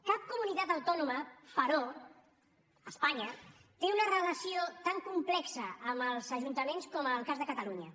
cap comunitat autònoma però a espanya té una relació tan complexa amb els ajuntaments com el cas de catalunya